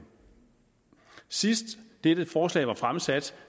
sidst dette forslag blev fremsat